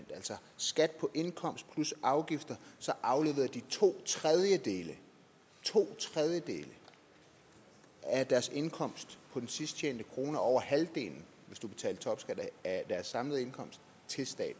skat på indkomst plus afgifter afleverede de to tredjedele to tredjedele af deres indkomst på den sidst tjente krone og over halvdelen af deres samlede indkomst til staten